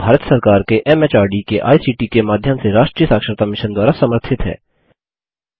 यह भारत सरकार के एमएचआरडी के आईसीटी के माध्यम से राष्ट्रीय साक्षरता मिशन द्वारा समर्थित है